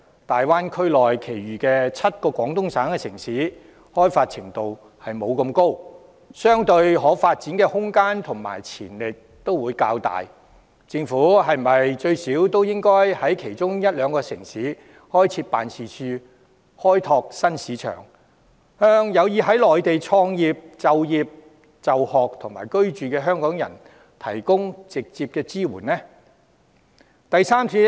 大灣區內其餘7個廣東省城市開發程度較低，相對可發展的空間和潛力也會較大，政府是否最少應在其中一兩個城市開設辦事處，以便開拓新市場，向有意在內地創業、就業、就學和居住的香港人提供直接支援？